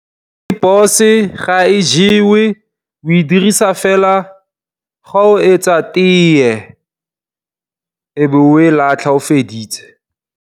Rooibos ga e jewe o e dirisa fela ga o etsa tee e be o e latlha ga o feditse.